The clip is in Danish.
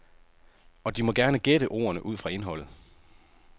Og de må gerne gætte ordene ud fra indholdet.